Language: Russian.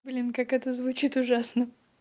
блин как это звучит ужасно